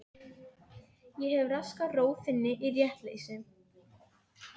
Ég hef raskað ró þinni í réttleysi.